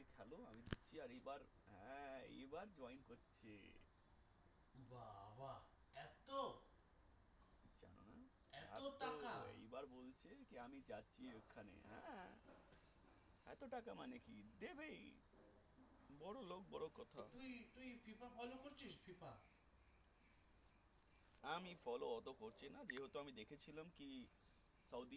আমি follow অত করছি না যেহেতু আমি দেখেছিলাম যে কি